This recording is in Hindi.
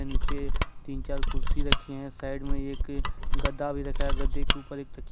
नीचे तीन चार कुर्सी रखे हैं साइड में एक गद्दा भी रखा है गद्दे के ऊपर एक तकि--